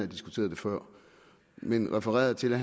diskuteret det før men refererede til at